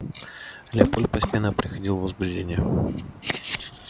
лепольд постепенно приходил в возбуждение